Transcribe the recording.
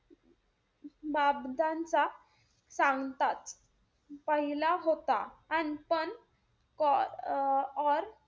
चा सांगतात पहिला होता अन पण को अं और